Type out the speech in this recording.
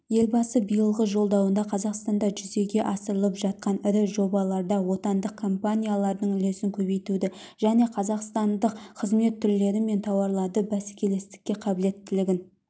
елбасы биылғы жолдауында қазақстанда жүзеге асырылып жатқан ірі жобаларда отандық компаниялардың үлесін көбейтуді және қазақстандық қызмет түрлері мен тауарларды бәскелестікке қабілеттілігін